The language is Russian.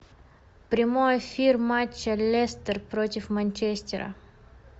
прямой эфир матча лестер против манчестера